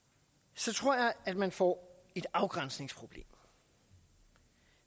så tror jeg at man får et afgrænsningsproblem